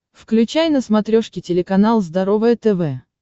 включай на смотрешке телеканал здоровое тв